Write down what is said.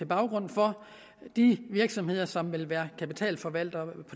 baggrund for de virksomheder som vil være kapitalforvaltere